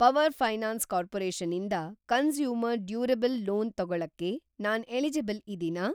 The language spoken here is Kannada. ಪವರ್‌ ಫೈನಾನ್ಸ್‌ ಕಾರ್ಪೊರೇಷನ್ ಇಂದ ಕಂಸ್ಯೂಮರ್‌ ಡ್ಯೂರೆಬಲ್‌ ಲೋನ್ ತೊಗೊಳಕ್ಕೆ ನಾನ್‌ ಎಲಿಜಿಬಲ್‌ ಇದೀನಾ?